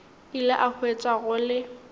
ile a hwetša go le